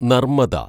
Narmada